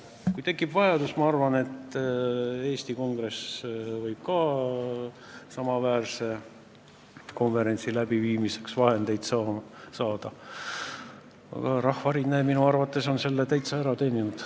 Ma arvan, et kui tekib vajadus, siis võib Eesti Kongress ka samaväärse konverentsi läbiviimiseks vahendeid saada, aga Rahvarinne on selle minu arvates täitsa ära teeninud.